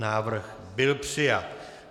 Návrh byl přijat.